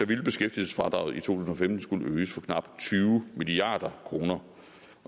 ville beskæftigelsesfradraget i to tusind og femten skulle øges for knap tyve milliard kroner